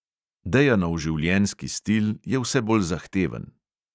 Dejanov življenjski stil je vse bolj zahteven.